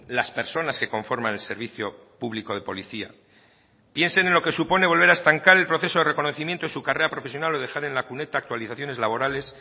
las personas que conforman el servicio público de policía piensen en lo que supone volver a estancar el proceso de reconocimiento de su carrera profesional o dejar en la cuneta actualizaciones laborales